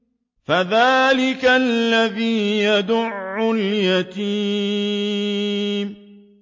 فَذَٰلِكَ الَّذِي يَدُعُّ الْيَتِيمَ